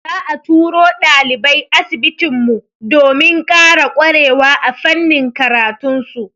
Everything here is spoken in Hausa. Za'a turo ɗalibai asibitin mu, domin ƙara ƙwarewa a fannin karatun su.